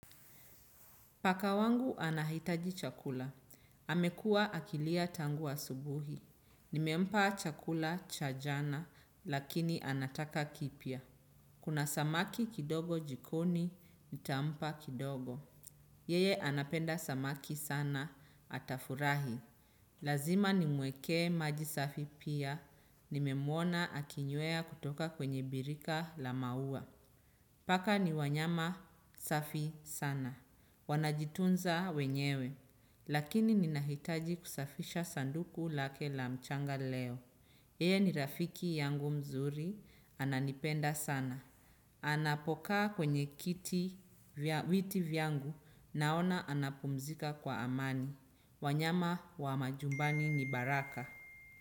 Paka wangu anahitaji chakula. Amekua akilia tangu asubuhi. Nimempa chakula cha jana lakini anataka kipya. Kuna samaki kidogo jikoni, nitampa kidogo. Yeye anapenda samaki sana atafurahi. Lazima nimwekee maji safi pia. Nimemwona akinywea kutoka kwenye birika la maua. Paka ni wanyama safi sana. Wanajitunza wenyewe, lakini ninahitaji kusafisha sanduku lake la mchanga leo. Yeye ni rafiki yangu mzuri, ananipenda sana. Anapokaa kwenye kiti, viti vyangu, naona anapumzika kwa amani. Wanyama wa majumbani ni baraka.